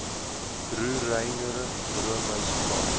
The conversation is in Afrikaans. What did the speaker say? roereier roomys vla